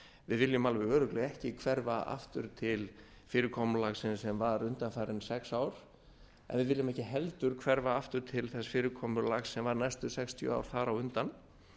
við viljum alveg örugglega ekki hverfa aftur til fyrirkomulagsins sem var undanfarin sex ár en við viljum ekki heldur hverfa til þess fyrirkomulags sem var næstu sextíu ár þar á undan